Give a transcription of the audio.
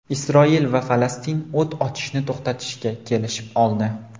Isroil va Falastin o‘t ochishni to‘xtatishga kelishib oldi.